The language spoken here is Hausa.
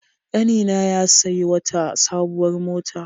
Ƙanina ya sayi wata sabuwar mota.